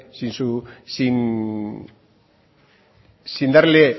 sin darle